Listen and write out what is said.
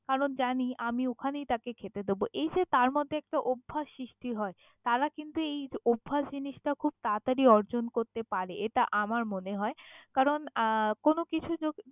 কারন জানি আমি অখানেই তাকে খেতে দেব এই যে তার মধ্যে একটা অভ্যাস সৃষ্টি হয় তারা কিন্তু এই অভ্যাস জিনিসটা খুব তারাতারি অর্জন করতে পারে এটা আমার মনে হয় কারন আহ কোনোকিছু জকি।